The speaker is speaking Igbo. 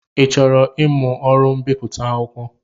Ị chọrọ ịmụ ọrụ mbipụta akwụkwọ?